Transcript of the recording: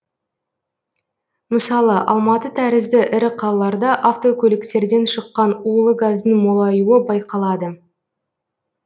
мысалы алматы тәрізді ірі калаларда автокөліктерден шыққан улы газдың молаюы байқалады